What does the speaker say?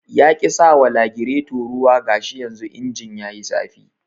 Yaƙi sawa lagireto ruwa gashi yanzu injin yayi zafi